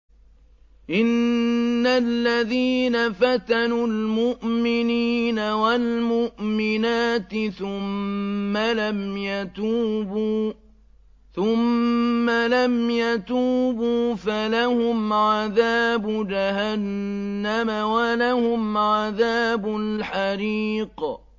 إِنَّ الَّذِينَ فَتَنُوا الْمُؤْمِنِينَ وَالْمُؤْمِنَاتِ ثُمَّ لَمْ يَتُوبُوا فَلَهُمْ عَذَابُ جَهَنَّمَ وَلَهُمْ عَذَابُ الْحَرِيقِ